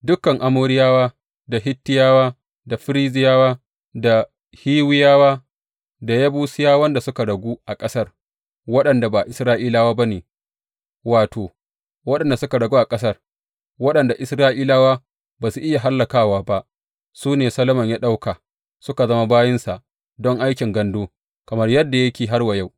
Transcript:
Dukan Amoriyawa, da Hittiyawa, da Ferizziyawa, da Hiwiyawa da Yebusiyawan da suka ragu a ƙasar waɗanda ba Isra’ilawa ba ne, wato, waɗanda suka ragu a ƙasar, waɗanda Isra’ilawa ba su iya hallakawa ba, su ne Solomon ya ɗauka su zama bayinsa don aikin gandu, kamar yadda yake har wa yau.